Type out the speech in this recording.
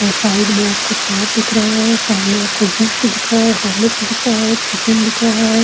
और साइड में आपको तार दिख रहा है और सामने आपको पुष्ठ दिख रहा है होर्लेक्स दिख रहा है चिकन दिख रहा है।